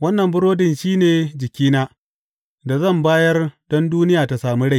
Wannan burodin shi ne jikina, da zan bayar don duniya ta sami rai.